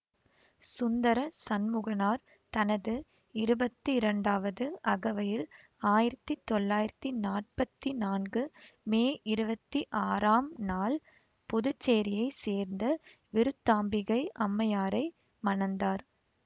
சுந்தர சண்முகனார் தனது இருபத்திரண்டாவது அகவையில் ஆயிரத்தி தொள்ளாயிரத்தி நாற்பத்தி நான்கு மே இருவத்தி ஆறாம் நாள் புதுச்சேரியைச் சேர்ந்த விருத்தாம்பிகை அம்மையாரை மணந்தார்